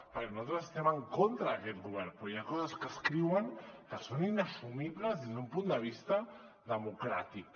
perquè nosaltres estem en contra d’aquest govern però hi ha coses que escriuen que són inassumibles des d’un punt de vista democràtic